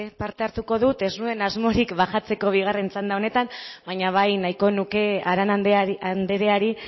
parte hartuko dut ez nuen asmorik baxatzeko bigarren txanda honetan baina bai nahiko nuke arana andreari